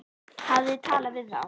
Hafið þið talað við þá?